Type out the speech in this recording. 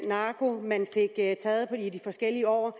narko man fik taget i de forskellige år